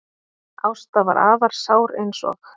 Ásta var afar sár eins og